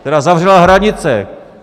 Která zavřela hranice!